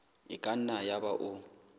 e ka nna yaba o